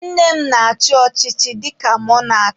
Nne m na-achị ọchịchị dịka mọnak.